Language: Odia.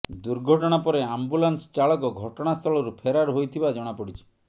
ଦୁର୍ଘଟଣା ପରେ ଆମ୍ବୁଲାନ୍ସ ଚାଳକ ଘଟଣାସ୍ଥଳରୁ ଫେରାର ହୋଇଥିବା ଜଣାପଡ଼ିଛି